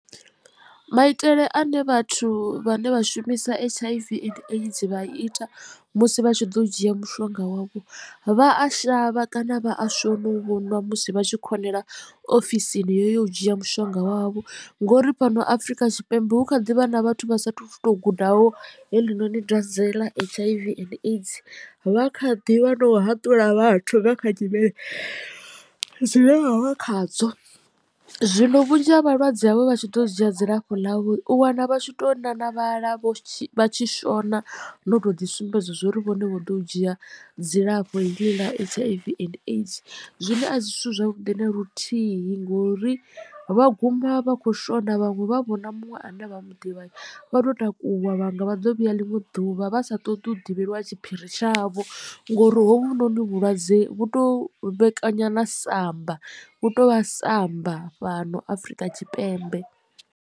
Maitele ane vhathu vhane vha shumisa H_ I_ V and aids vha ita musi vha tshi ḓo dzhia mushonga wavho vha a shavha kana vha a shona u vhonwa musi vha tshi khonela ofisini yo u dzhia mushonga wavho ngori fhano afrika tshipembe hu kha ḓivha na vhathu vha sathu to gudaho heḽinoni dwadze ḽa H_I_V and aids vha kha ḓivha na u haṱula vhathu nga kha nyimele dzine vha vha khadzo. Zwino vhunzhi ha vhalwadze havho vha tshi ḓo dzhia dzilafho ḽavho u wana vhatshi to nanavhala vha tshi shona no to ḓi sumbedza zwa uri vhone vho ḓo u dzhia dzilafho heḽi ḽa H_I_V and aids zwine a si zwithu zwavhuḓi na luthihi ngori vha guma vha kho shona vhaṅwe vha vhona muṅwe a ne vha mu ḓivha vha to takuwa vhanga vha ḓo vhuya ḽiṅwe ḓuvha vha sa ṱoḓi u ḓivhelwa tshiphiri tshavho ngori hovhunoni vhulwadze vhu to vhekanya na samba vhu to vha samba fhano afrika tshipembe.